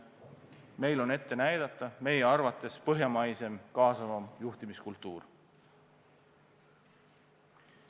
Meil on ette näidata meie arvates põhjamaine kaasavam juhtimiskultuur.